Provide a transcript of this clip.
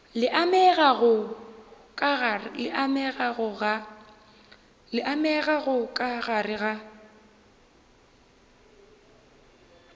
le amegago ka gare ga